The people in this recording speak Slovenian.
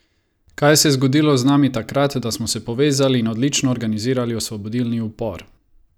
Kaj se je zgodilo z nami takrat, da smo se povezali in odlično organizirali osvobodilni upor?